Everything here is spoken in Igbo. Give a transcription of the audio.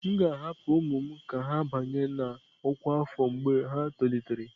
M ga-ahapụ ụmụ m ka ha banye na ọkwa afọ mgbe ha tolitere.